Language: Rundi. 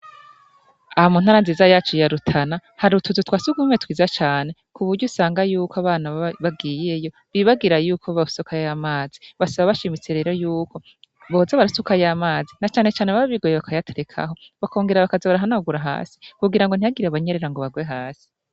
Aha muntara nziza yacu yarutana hari utuzu twasi gumwe twiza cane ku burya usanga yuko abana bagiyeyo bibagira yuko babasoka y'amazi basaba bashimitse rero yuko boza barasuka y'amazi na canecane baba bigoye bakayaterekaho bakongera abakazi barahanagura hasi kugira ngo ntihagirie abanyerera ngo bagwe hasi.